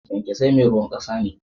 Kyankesai meruwan kasa ne.